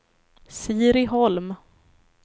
Siri Holm